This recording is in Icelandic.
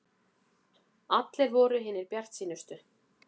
Allir voru hinir bjartsýnustu.